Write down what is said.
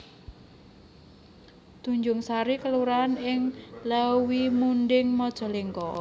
Tanjungsari kelurahan ing Leuwimunding Majalengka